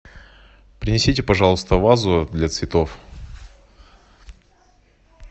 принесите пожалуйста вазу для цветов